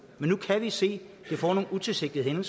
men nu kan vi se at det får nogle utilsigtede